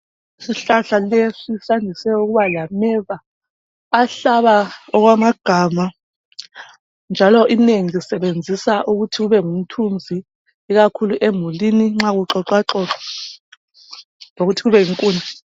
Isihlahla lesi sandise ukuba lameva ahlaba okwamagama njalo inengi lisebenzisa ukuthi kubengumthunzi ikakhulu emulini nxa kuxoxwaxoxwa lokuthi kube zinkuni.